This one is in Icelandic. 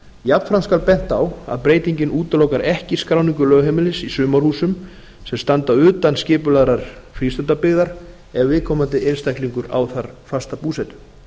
jafnframt skal bent á að breytingin útilokar ekki skráningu lögheimilis í sumarhúsum sem standa utan skipulagðrar frístundabyggðar ef viðkomandi einstaklingur á þar fasta búsetu